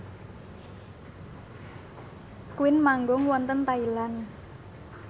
Queen manggung wonten Thailand